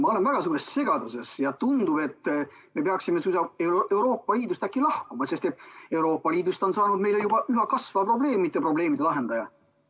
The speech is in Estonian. Ma olen väga suures segaduses ja tundub, et me peaksime suisa Euroopa Liidust äkki lahkuma, sest et Euroopa Liidust on saanud meile juba üha kasvav probleem, mitte probleemide lahendaja.